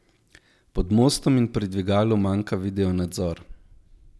Pod mostom in pri dvigalu manjka videonadzor.